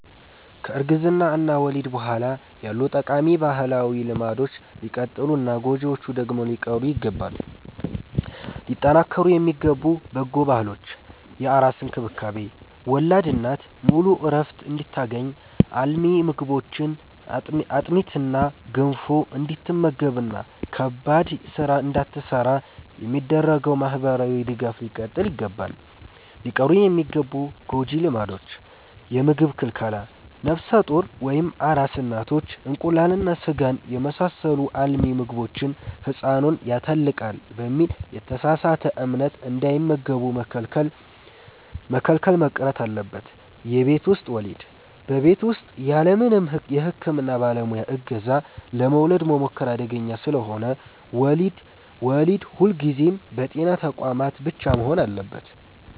ከእርግዝና እና ወሊድ በኋላ ያሉ ጠቃሚ ባህላዊ ልማዶች ሊቀጥሉና ጎጂዎቹ ደግሞ ሊቀሩ ይገባል። ሊጠናከሩ የሚገቡ በጎ ባህሎች፦ የአራስ እንክብካቤ፦ ወላድ እናት ሙሉ ዕረፍት እንድታገኝ፣ አልሚ ምግቦችን (አጥሚትና ገንፎ) እንድትመገብና ከባድ ሥራ እንዳትሠራ የሚደረገው ማኅበራዊ ድጋፍ ሊቀጥል ይገባል። ሊቀሩ የሚገቡ ጎጂ ልማዶች፦ የምግብ ክልከላ፦ ነፍሰ ጡር ወይም አራስ እናቶች እንቁላልና ሥጋን የመሳሰሉ አልሚ ምግቦችን «ሕፃኑን ያተልቃል» በሚል የተሳሳተ እምነት እንዳይመገቡ መከልከል መቅረት አለበት። የቤት ውስጥ ወሊድ፦ በቤት ውስጥ ያለምንም የሕክምና ባለሙያ ዕገዛ ለመውለድ መሞከር አደገኛ ስለሆነ፣ ወሊድ ሁልጊዜም በጤና ተቋማት ብቻ መሆን አለበት።